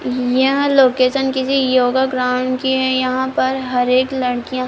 यह लोकेशन किसी योगा ग्राऊंड की है यहाँ पर हरेक लड़किया --